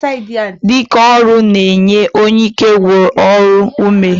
Dike ọrụ n'enye onye ike nwụrụ n'ọrụ ume.